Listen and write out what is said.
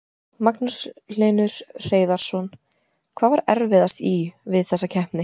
Magnús Hlynur Hreiðarsson: Hvað var erfiðast í, við þessa keppni?